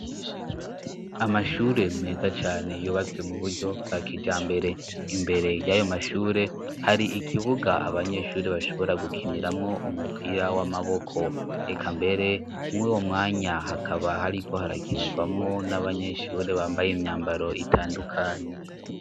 amashure meza cane yubatswe mu buryo bwa kijambere imbere y'ayo mashure hari ikibuga abanyeshuri bashobora gukiniramwo umupira w'amaboko eka mbere mwuwo mwanya hakaba hariko harakinirwamwo n'abanyeshuri bambaye imyambaro itandukanye